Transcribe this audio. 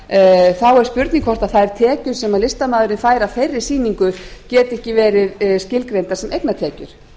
er spurning um hvort þær tekjur sem listamaðurinn fær af þeirri sýningu geti ekki verið skilgreindar sem eignatekjur